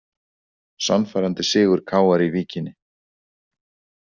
Sannfærandi sigur KR í Víkinni